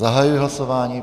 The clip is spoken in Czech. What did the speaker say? Zahajuji hlasování.